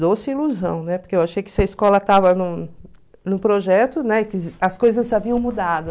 Doce ilusão, né, porque eu achei que se a escola estava num num projeto, né as coisas haviam mudado.